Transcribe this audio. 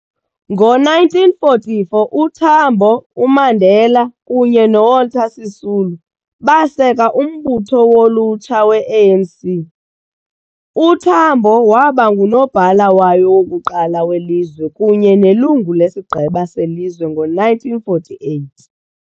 Ngo-1944, uTambo, uMandela kunye noWalter Sisulu baseka umbutho wolutsha we-ANC, uTambo yaba nguNobhala wayo wokuqala welizwe kunye nelungu leSigqeba seLizwe ngo-1948.